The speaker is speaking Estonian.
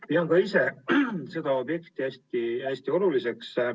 Pean ka ise seda objekti hästi oluliseks.